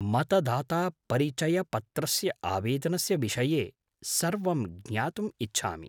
मतदातापरिचयपत्रस्य आवेदनस्य विषये सर्वं ज्ञातुम् इच्छामि।